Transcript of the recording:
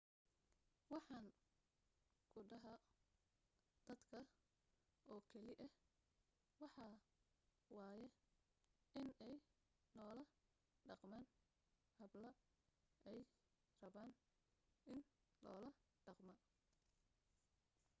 waxaan ku dhaho dadka oo keli ah waxaa waye inay noola dhaqmaan habla ay rabaan in loola dhaqmo